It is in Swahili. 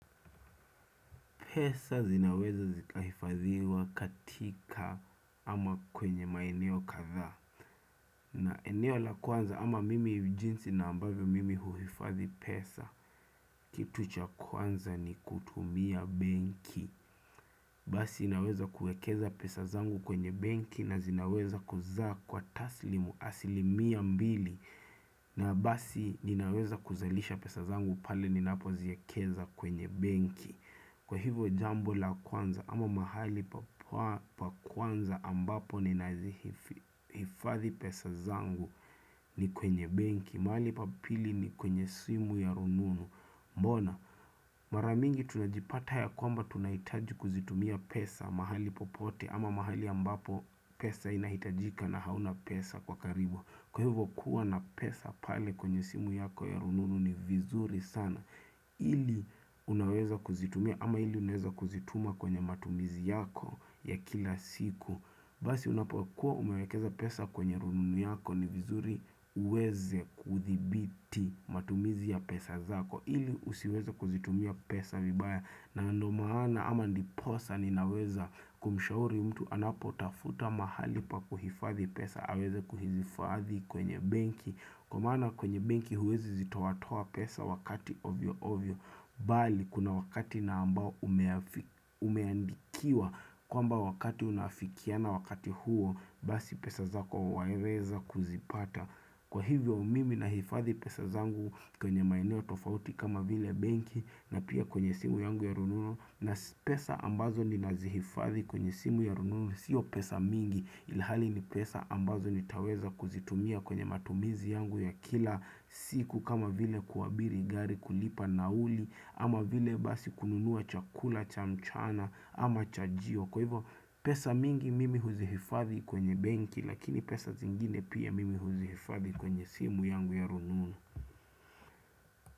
Pesa zinaweza zikahifadhiwa katika ama kwenye maeneo kadhaa. Na eneo la kwanza ama mimi jinsi na ambavyo mimi huhifadhi pesa. Kitu cha kwanza ni kutumia benki. Basi inaweza kuekeza pesa zangu kwenye benki na zinaweza kuzaa kwa taslimu asilimia mbili. Na basi ninaweza kuzalisha pesa zangu pale ninapoziekeza kwenye benki. Kwa hivo jambo la kwanza ama mahali pa kwanza ambapo ninazihifadhi pesa zangu ni kwenye benki, mahali pa pili ni kwenye simu ya rununu, mbona. Mara mingi tunajipata ya kwamba tunahitaji kuzitumia pesa mahali popote ama mahali ambapo pesa inahitajika na hauna pesa kwa karibu. Kwa hivyo kuwa na pesa pale kwenye simu yako ya rununu ni vizuri sana ili unaweza kuzitumia ama ili unaweza kuzituma kwenye matumizi yako ya kila siku Basi unapokuwa umewekeza pesa kwenye rununu yako ni vizuri uweze kudhibiti matumizi ya pesa zako ili usiweze kuzitumia pesa vibaya na ndio maana ama ndiposa ninaweza kumshauri mtu anapo tafuta mahali pa kuhifadhi pesa aweze kuhizifadhi kwenye benki kwa maana kwenye benki huwezi zitoatoa pesa wakati ovyo ovyo bali kuna wakati na ambao ume umeandikiwa kwamba wakati unaifikiana wakati huo basi pesa zako waweza kuzipata kwa hivyo mimi nahifadhi pesa zangu kwenye maeneo tofauti kama vile benki na pia kwenye simu yangu ya rununu na pesa ambazo ninazihifadhi kwenye simu ya rununu sio pesa mingi ilhali ni pesa ambazo nitaweza kuzitumia kwenye matumizi yangu ya kila siku kama vile kuabiri gari kulipa nauli ama vile basi kununua chakula cha mchana ama chajio kwa hivyo pesa mingi mimi huzihifadhi kwenye benki lakini pesa zingine pia mimi huzihifadhi kwenye simu yangu ya rununu.